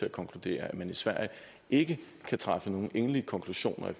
at konkludere at man i sverige ikke kan drage nogle endelige konklusioner